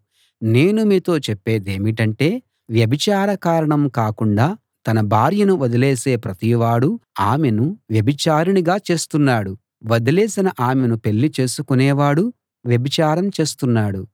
నేను మీతో చెప్పేదేమిటంటే వ్యభిచార కారణం కాకుండా తన భార్యను వదిలేసే ప్రతివాడూ ఆమెను వ్యభిచారిణిగా చేస్తున్నాడు వదిలేసిన ఆమెను పెళ్ళి చేసుకొనేవాడు వ్యభిచారం చేస్తున్నాడు